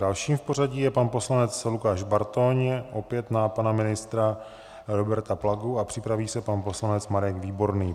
Dalším v pořadí je pan poslanec Lukáš Bartoň, opět na pana ministra Roberta Plagu, a připraví se pan poslanec Marek Výborný.